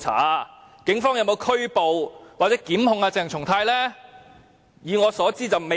那警方有否拘捕或檢控鄭松泰議員呢？